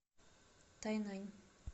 тайнань